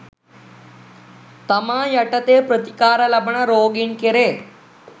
තමා යටතේ ප්‍රතිකාර ලබන රෝගීන් කෙරේ